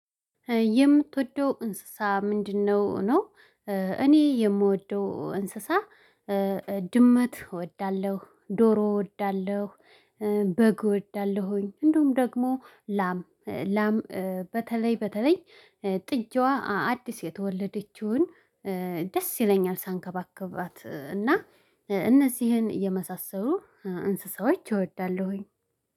የምትወደው እንስሳ ምንድነው ነው? እኔ የምወደው እንስሳ ድመት እወዳለሁ ዶሮ እወዳለሁ በግ እወዳለሁኝ። እንደውም ደግሞ ላም ላም በተለይ በተለይ ጥጃዋ አዲስ የተወለደችውን ደስ ይለኛል ሳንከባከባት እና እነዚህን የመሳሰሉ እንስሳዎች እወዳለሁኝ